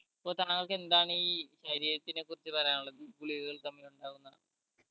ഇപ്പൊ താങ്കൾക്ക് എന്താണ് ഈ ശരീരത്തിനെ കുറിച്ച് പറയാനുള്ളത് ഈ ഗുളികകൾ തമ്മിൽ ഉണ്ടാകുന്ന